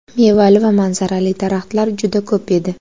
Mevali va manzaralari daraxtlar juda ko‘p edi.